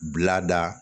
Bila da